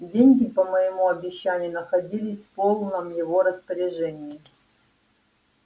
деньги по моему обещанию находились в полном его распоряжении